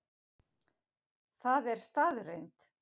Það er staðreynd